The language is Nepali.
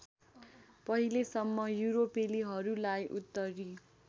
पहिलेसम्म युरोपेलीहरूलाई उत्तरी